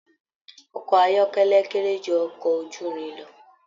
Ọkọ ayọkẹlẹ kéré jù ọkọ ojúrin lọ.